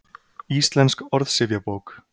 Íslensk orðsifjabók.